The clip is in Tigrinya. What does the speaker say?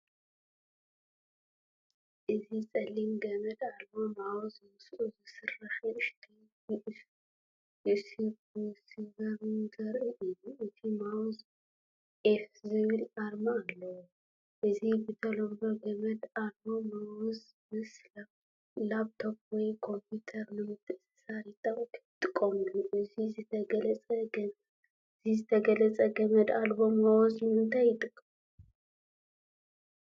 እዚ ጸሊም ገመድ ኣልቦ ማውዝ ምስኡ ዝሰርሕ ንእሽቶ ዩኤስቢ ሪሲቨርን ዘርኢ እዩ። እቲ ማውዝ “ኢፍ” ዝብል ኣርማ ኣለዎ። እዚ ብተለምዶ ገመድ ኣልቦ ማውዝ ምስ ላፕቶፕ ወይ ኮምፒተር ንምትእስሳር ይጥቀመሉ። እዚ ዝተገልጸ ገመድ ኣልቦ ማውዝ ንምንታይ ይጠቅም?